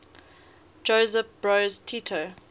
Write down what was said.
josip broz tito